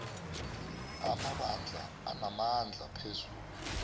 amabandla anamandla phezu